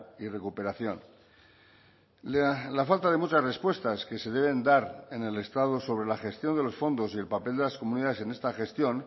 y recuperación la falta de muchas respuestas que se deben dar en el estado sobre la gestión de los fondos y el papel de las comunidades en esta gestión